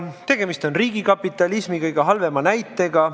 Tegemist on riigikapitalismi kõige halvema näitega.